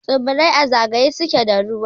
Tsibirai a zagaye suke da ruwa.